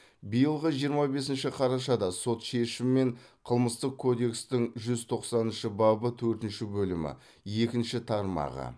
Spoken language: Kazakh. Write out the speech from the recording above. биылғы жиырма бесінші қарашада сот шешімімен қылмыстық кодекстің жүз тоқсаныншы бабы төртінші бөлімі екінші тармағы